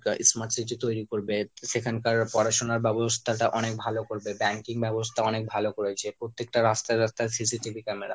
তা smart city তৈরি করবে, সেখানকার পড়াশোনা ব্যবস্থাটা অনেক ভালো করবে। banking ব্যবস্থা অনেক ভালো করেছে, প্রত্যেকটা রাস্তায় রাস্তায় CCTV camera